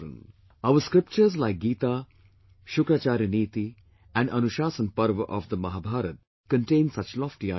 Our scriptures like Gita, Shukracharya Niti and Anushasan Parv of the Mahabharta contain such lofty ideals